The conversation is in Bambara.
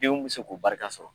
Denw bi se k'o barika sɔrɔ.